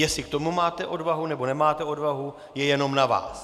Jestli k tomu máte odvahu, nebo nemáte odvahu, je jenom na vás.